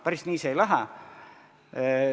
Päris nii see ei lähe.